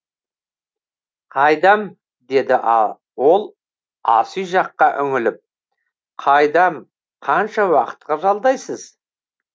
қайдам деді ол асүй жаққа үңіліп қайдам қанша уақытқа жалдайсыз